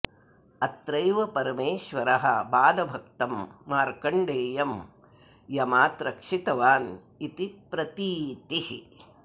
अत्रैव परमेश्वरः बालभक्तं मार्कण्डेयं यमात् रक्षितवान् इति प्रतीतिः